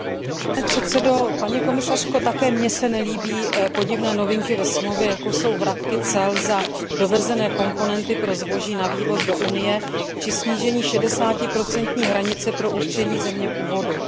Pane předsedající, paní komisařko, ani mně se nelíbí podivné novinky ve smlouvě, jako jsou vratky cel za dovezené komponenty pro zboží na vývoz do Unie či snížení 60 hranice pro určení země původu.